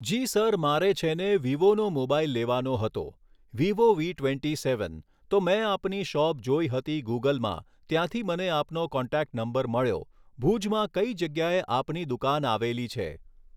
જી sir મારે છેને વિવોનો મોબાઈલ લેવાનો હતો. Vivo V twenty seven. તો મેં આપની શૉપ જોઈ હતી ગૂગલમાં ત્યાંથી મને આપનો કૉન્ટૅક્ટ નંબર મળ્યો ભુજમાં કઈ જગ્યાએ આપની દુકાન આવેલી છે